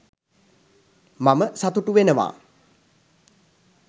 මම සතුටු වෙනවා